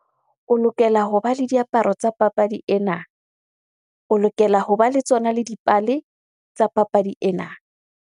O lokela hoba le diaparo tsa papadi ena. O lokela hoba le tsona le dipale tsa papadi ena.